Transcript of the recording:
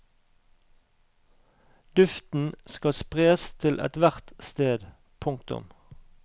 Duften skal spres til ethvert sted. punktum